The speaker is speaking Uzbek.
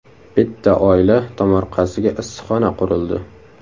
Bitta oila tomorqasiga issiqxona qurildi.